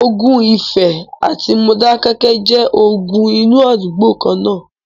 ogun ifẹ̀ àti Modákéké jẹ́ ogun inú àdúgbò kan-ná-an.